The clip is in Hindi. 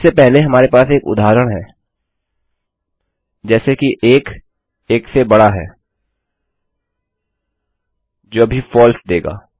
इससे पहले हमारे पास एक उदाहरण है जैसे कि 1 1 से बड़ा है जो अभी फलसे देगा